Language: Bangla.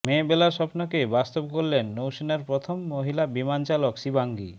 মেয়েবেলার স্বপ্নকে বাস্তব করলেন নৌসেনার প্রথম মহিলা বিমানচালক শিবাঙ্গী